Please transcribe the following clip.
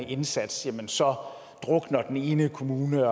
indsats så drukner den ene kommune